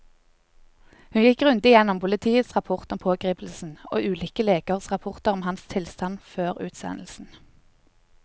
Hun gikk grundig gjennom politiets rapport om pågripelsen og ulike legers rapporter om hans tilstand før utsendelsen.